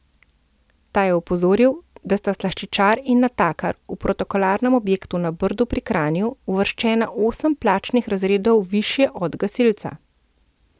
Ta je opozoril, da sta slaščičar in natakar v protokolarnem objektu na Brdu pri Kranju uvrščena osem plačnih razredov višje od gasilca.